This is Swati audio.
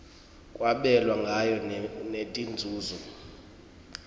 kwabelwa ngayo netinzunzo